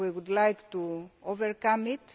We would like to overcome it.